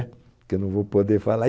Que eu não vou poder falar.